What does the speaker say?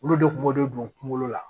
Olu de kun b'o de don kungolo la